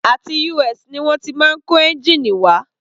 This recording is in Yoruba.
Àti US ni wọ́n ti máa ń kó ẹ́ngìnì wá.